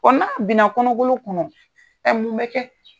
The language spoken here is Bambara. n'a bin na kɔnɔgolo kɔnɔ mun bɛ kɛ.